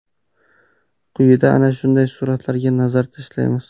Quyida ana shunday suratlarga nazar tashlaymiz.